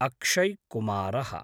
अक्षय् कुमारः